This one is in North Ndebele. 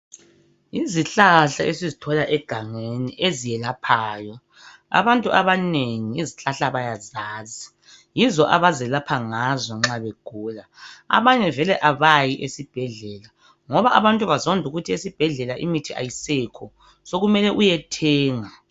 Izihlahla esizithola egangeni ezelaphayo. Abantu abanengi izihlahla bayazazi. Yizo abazelapha ngazo nxa begula. Abanye vele abayi esibhedlela ngoba abantu bazonda ukuthi esibhedlela imithi ayisekho sekumele uyethenga.